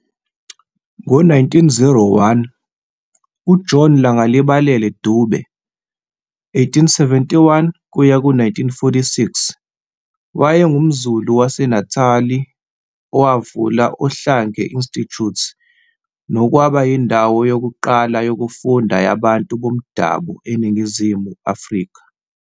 Ngo 1901, uJohn Langalibalele Dube, 1871-1946, owayengumZulu wase Natali wavula Ohlange Institute nokwaba yindawo yokuqala yokufunda yabantu bomdabu eNingizimu Afrika.